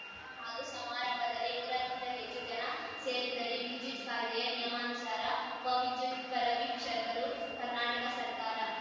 ಹಾಗೂ ಸಮಾರಂಭದಲ್ಲಿ ನೂರಕ್ಕಿಂತ ಹೆಚ್ಚು ಜನ ಸೇರಿದಲ್ಲಿ ವಿದ್ಯುತ್‌ ಕಾಯ್ದೆಯ ನಿಯಮಾನುಸಾರ ಉಪ ವಿದ್ಯುತ್‌ ಪರಿವೀಕ್ಷಕರು ಕರ್ನಾಟಕ ಸರ್ಕಾರ